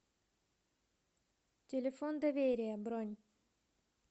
телефон доверия бронь